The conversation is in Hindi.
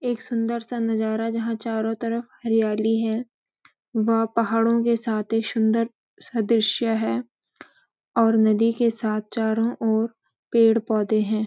एक सुंदर सा नजारा जहां चारों तरफ हरियाली है वह पहाड़ों के साथ एक सुंदर सा दृश्य है और नदी के साथ चारों ओर पेड़-पौधे हैं।